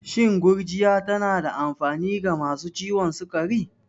Shin gurjiya tana da amfani ga masu ciwon sukari?